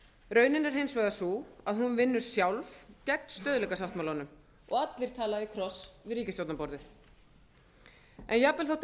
raunin er hins vegar sú að hún vinnur sjálf gegn stöðugleikasáttmálanum og allir tala í kross við ríkisstjórnarborðið en jafnvel þó að